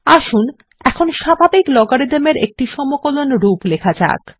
আসুন এখন স্বাভাবিক লগারিদম এর একটি সমকলন রূপ লেখা যাক